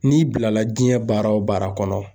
N'i bilala diɲɛ baara o baara kɔnɔ